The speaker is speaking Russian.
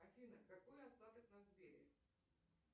афина какой остаток на сбере